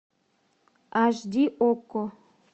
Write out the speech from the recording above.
аш ди окко